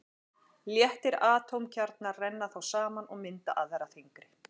Léttir atómkjarnar renna þá saman og mynda aðra þyngri.